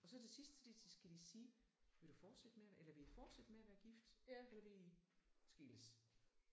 Og til sidst så der så skal de sige vil du fortsætte med at eller vil I fortsætte med at være gift eller vil I skilles?